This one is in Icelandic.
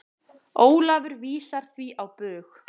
Ólafur vísar því á bug.